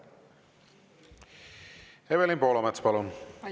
Evelin Poolamets, palun!